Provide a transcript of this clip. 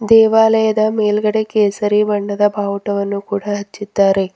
ದೇವಾಲಯದ ಮೇಲ್ಗಡೆ ಕೇಸರಿ ಬಣ್ಣದ ಬಾವುಟವನ್ನು ಕೂಡ ಹಚ್ಚಿದ್ದಾರೆ.